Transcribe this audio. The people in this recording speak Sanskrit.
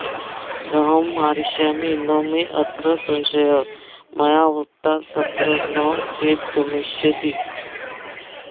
अहं मरिष्यामि न मेऽत्र संशयो मया वृता तत्र न चेद्गमिष्यसि